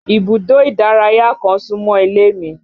Ibùdó ìdárayá kan súmọ́ ilé mi